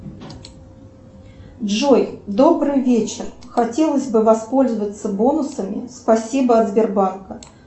джой добрый вечер хотелось бы воспользоваться бонусами спасибо от сбербанка